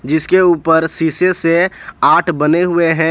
जिसके ऊपर शीशे से आठ बने हुए हैं।